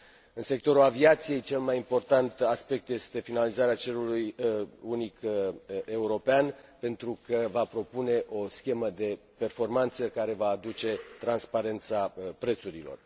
În sectorul aviației, cel mai important aspect este finalizarea cerului unic european pentru că va propune o schemă de performanță care va aduce transparența prețurilor.